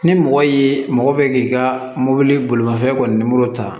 Ni mɔgɔ y'i mɔgɔ bɛ k'i ka mobili bolimafɛn kɔnɔ